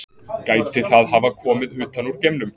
gæti það hafa komið utan úr geimnum